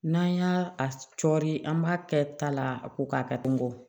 N'an y'a cɔri an b'a kɛ ta la a ko k'a kɛtogo